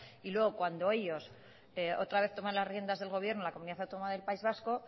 y luego cuando ellos otra vez toman las riendas del gobierno en la comunidad autónoma del país vasco